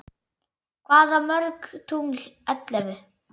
Hvað mörg tungl ellefu?